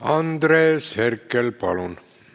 Andres Herkel, palun!